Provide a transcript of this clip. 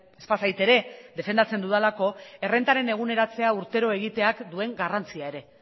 ez bazait ere defendatzen dudalako errentaren eguneratzea urtero egiteak duen garrantzia ere